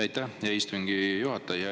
Aitäh, hea istungi juhataja!